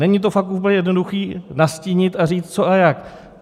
Není to fakt úplně jednoduché nastínit a říct co a jak.